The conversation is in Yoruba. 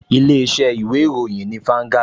Ilé-iṣẹ́ ìwé ìròyìn ni Vanguard